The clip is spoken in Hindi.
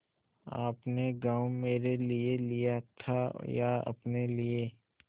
आपने गॉँव मेरे लिये लिया था या अपने लिए